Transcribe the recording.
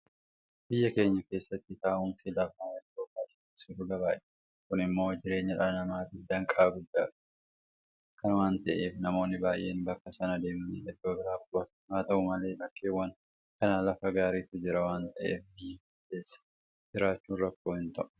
Biyya keenya keessatti taa'umsi lafaa iddoo baay'eetti sulula baay'ata. Kun immoo jireenya dhala namaatiif danqaa guddaadha. Kana waanta ta'eef namoonni baay'een bakka sanaa deemanii iddoo biraa qubatu. Haa ta'u malee bakkeewwan kaan lafa gaariitu jira waanta ta'eef biyya kana keessa jiraachuun rakkoo hinta'u.